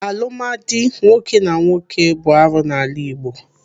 Alụmdi nwoke na nwoke bụ arụ n'ala Igbo.